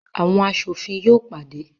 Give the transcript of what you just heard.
Awọn aṣofin yóò pàdé